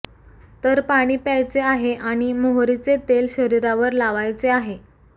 तर पाणी प्यायचे आहे आणि मोहरीचे तेल शरीरावर लावायचे आहे